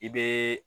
I bɛ